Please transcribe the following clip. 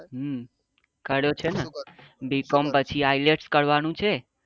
હમ કર્યો છે ને bcom પછી ielts કરવાનું છે.